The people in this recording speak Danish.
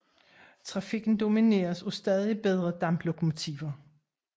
Trafikken domineres af stadig bedre damplokomotiver